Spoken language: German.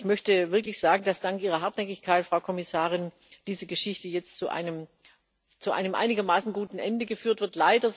Ich möchte wirklich sagen, dass dank Ihrer Hartnäckigkeit, Frau Kommissarin, diese Geschichte jetzt zu einem einigermaßen guten Ende geführt wird.